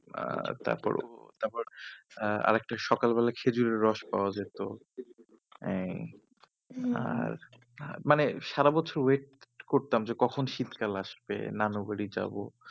আহ তারপর তারপর আহ আরেকটা সকালবেলায় খেজুরের রস পাওয়া যেত এই আর মানে সারা বছর wait করতাম যে কখন শীতকাল আসবে নানু বাড়ি যাব